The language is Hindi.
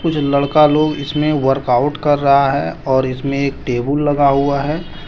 लड़का लोग इसमें वर्कआउट कर रहा है और इसमें एक टेबल लगा हुआ है।